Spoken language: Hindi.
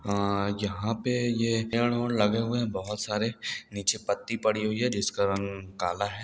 आ यहाँ पे ये पेड़ उड़ लगे हुए हैं बहुत सारे नीचे पत्ती पड़ी हुई है जिसका रंग काला है।